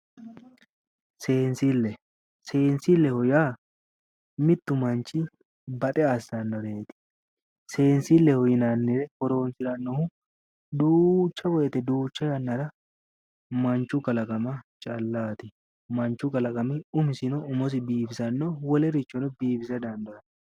Seensile, seensilleho yaa mittu manchi baxe assannoreeti, seensile yinannire horonsirannohu duucha woyte duucha yannara manchu kalaqama callaati, manchu kalaqami umosino biifisanno wolerichono biifise dandaanno.